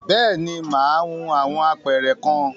Bẹ́ẹ̀ni, mà á hun awọn apẹ̀rẹ̀ kan.